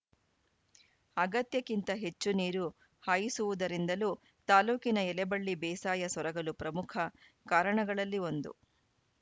ಅಗತ್ಯಕ್ಕಿಂತ ಹೆಚ್ಚು ನೀರು ಹಾಯಿಸುವುದರಿಂದಲೂ ತಾಲೂಕಿನ ಎಲೆಬಳ್ಳಿ ಬೇಸಾಯ ಸೊರಗಲು ಪ್ರಮುಖ ಕಾರಣಗಳಲ್ಲಿ ಒಂದು